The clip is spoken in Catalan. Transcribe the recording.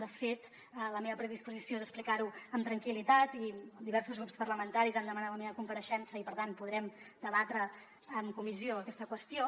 de fet la meva predisposició és explicar ho amb tranquil·litat i diversos grups parlamentaris han demanat la meva compareixença i per tant podrem debatre en comissió aquesta qüestió